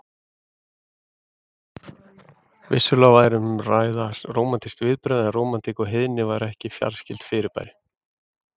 Vissulega væri um að ræða rómantísk viðbrögð, en rómantík og heiðni væru ekki fjarskyld fyrirbæri.